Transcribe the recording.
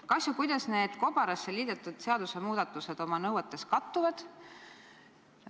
Kas ja kuidas need kobarasse liidetud seadusemuudatused oma nõuetes kattuvad?